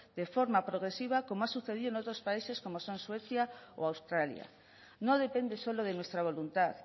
de forma progresiva como ha sucedido en otros países como son suecia o australia no depende solo de nuestra voluntad